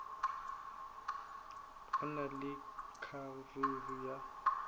go na le kgaruru ya